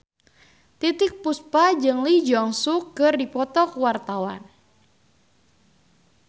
Titiek Puspa jeung Lee Jeong Suk keur dipoto ku wartawan